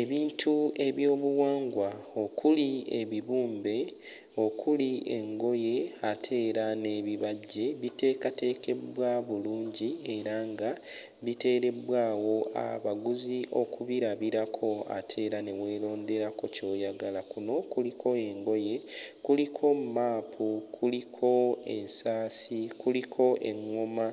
Ebintu ebyobuwangwa okuli ebibumbe, okuli engoye ate era n'ebibajje bitekateekeddwa bulungi era nga biteereddwa awo abaguzi okubirabirako ate era ne weeronderako ky'oyagala. Kuno kuliko engoye, kuliko mmaapu, kuliko ensaasi kuliko eŋŋoma